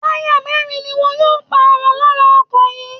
Táyà mẹ́rin ni wọn yóò pààrọ̀ lára ọkọ̀ yìí